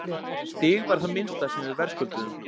Stig var það minnsta sem við verðskulduðum.